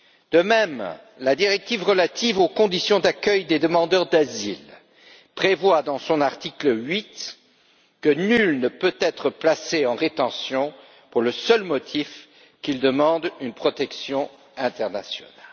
De même, la directive relative aux conditions d'accueil des demandeurs d'asile prévoit, dans son article 8, que nul ne peut être placé en rétention pour le seul motif qu'il demande une protection internationale.